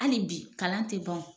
Ali bi kalan tɛ ban wo.